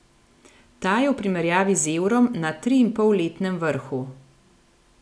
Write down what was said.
Ta je v primerjavi z evrom na triinpolletnem vrhu.